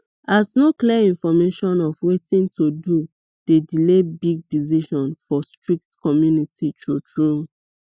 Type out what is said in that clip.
as no clear information of watin to do dey delay big decision for strict community true true